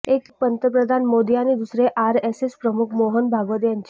एक पंतप्रधान मोदी आणि दुसरे आरएसएस प्रमुख मोहन भागवत यांची